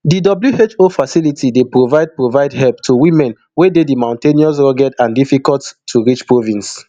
di who facility dey provide provide help to women wey dey di mountainous rugged and difficult to reach province